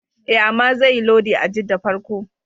E, amma zaiyi lodi a Jidda farko.